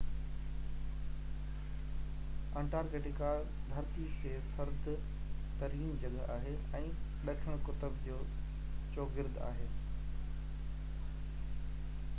Antarctica ڌرتيءَ تي سرد ترين جڳھ آھي ۽ ڏکڻ قطب جي چوگرد آھي